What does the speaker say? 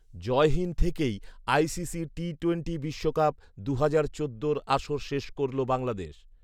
জয়হীন থেকেই ICC T twenty বিশ্বকাপ দু'হাজার চোদ্দোর আসর শেষ করলো বাংলাদেশ